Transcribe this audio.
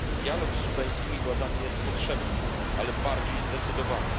Dialog z sudańskimi władzami jest potrzebny, ale musi być bardziej zdecydowany.